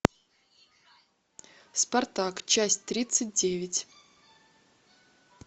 спартак часть тридцать девять